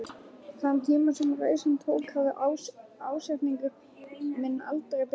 Þann tíma sem reisan tók hafði ásetningur minn aldrei bilað.